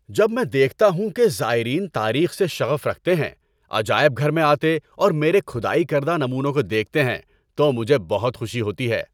جب میں دیکھتا ہوں کہ زائرین تاریخ سے شغف رکھتے ہیں، عجائب گھر میں آتے اور میرے کھدائی کردہ نمونوں کو دیکھتے ہیں تو مجھے بہت خوشی ہوتی ہے۔